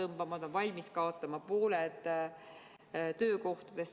Nad on valmis kaotama pooled töökohtadest.